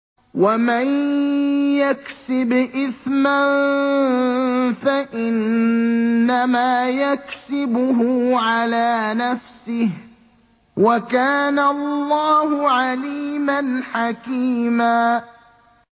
وَمَن يَكْسِبْ إِثْمًا فَإِنَّمَا يَكْسِبُهُ عَلَىٰ نَفْسِهِ ۚ وَكَانَ اللَّهُ عَلِيمًا حَكِيمًا